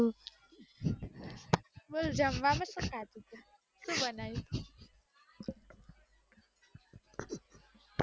બોલ જમવામાં સુ ખાધું સુ બનાવ્યું